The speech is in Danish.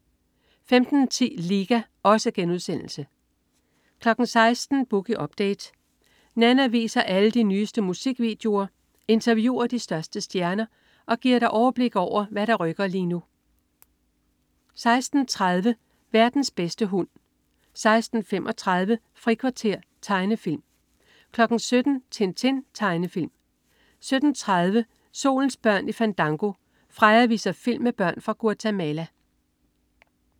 15.10 Liga* 16.00 Boogie Update. Nanna viser alle de nyeste musikvideoer, interviewer de største stjerner og giver dig overblik over, hvad der rykker lige nu 16.30 Verdens bedste hund 16.35 Frikvarter. Tegnefilm 17.00 Tintin. Tegnefilm 17.30 Solens børn i Fandango. Freja viser film med børn fra Guatemala